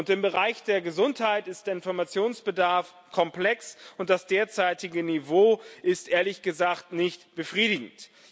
Im Bereich der Gesundheit ist der Informationsbedarf komplex, und das derzeitige Niveau ist, ehrlich gesagt, nicht befriedigend.